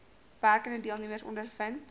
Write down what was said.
werkende deelnemers ondervind